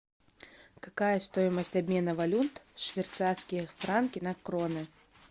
какая стоимость обмена валют швейцарские франки на кроны